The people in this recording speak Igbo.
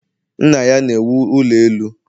Nna ya na-ewu ụlọ elu